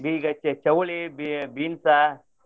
ಈಗ ಚೌ~ ಚೌಳಿ, ಬಿ~ ಬೀನ್ಸ.